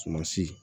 Sumansi